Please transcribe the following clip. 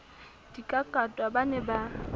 di kakatwa ba ne ba